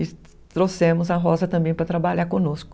E trouxemos a Rosa também para trabalhar conosco.